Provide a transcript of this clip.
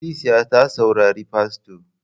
Ikilisiya ta saurari fasto.